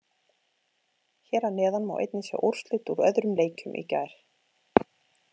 Hér að neðan má einnig sjá úrslit úr öðrum leikjum í gær.